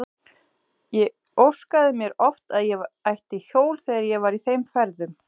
Ég óskaði mér oft að ég ætti hjól þegar ég var í þeim ferðum.